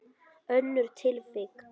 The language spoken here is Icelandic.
Önnur tilvik.